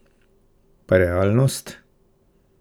Pa realnost?